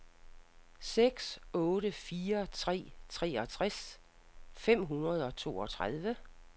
seks otte fire tre treogtres fem hundrede og toogtredive